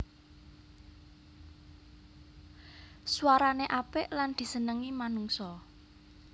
Swarané apik lan disenengi manungsa